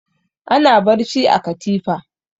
Ana barci a katifa.